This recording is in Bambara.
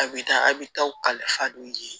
A bɛ taa a bɛ taa u ka kalifa d'u ye